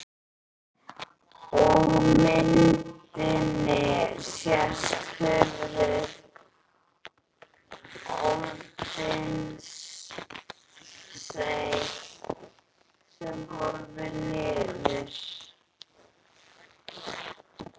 Á myndinni sést höfuð Ódysseifs sem horfir niður.